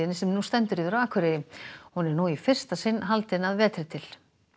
sem nú stendur yfir á Akureyri hún er nú í fyrsta sinn haldin að vetri til